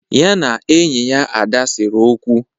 Ya na enyi ya Ada sere okwu.